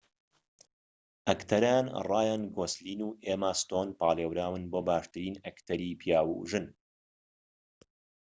ئەکتەران رایان گۆسلین و ئێما ستۆن پاڵێوران بۆ باشترین ئەکتەری پیاو و ژن